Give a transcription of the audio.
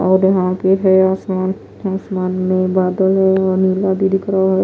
और यहां पे है आसमान। आसमान में बादल है और नीला भी दिख रहा है।